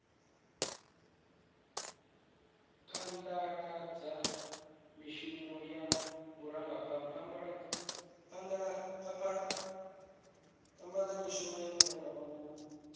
phadaladza mishumo ya vhurangaphanda na